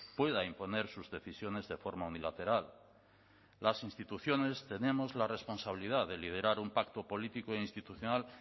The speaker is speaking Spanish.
pueda imponer sus decisiones de forma unilateral las instituciones tenemos la responsabilidad de liderar un pacto político e institucional